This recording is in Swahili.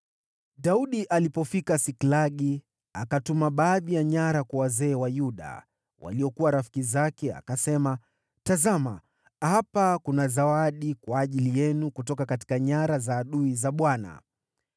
Daudi alipofika Siklagi, akatuma baadhi ya nyara kwa wazee wa Yuda, waliokuwa rafiki zake, akasema, “Tazama, hapa kuna zawadi kwa ajili yenu kutoka nyara za adui za Bwana .”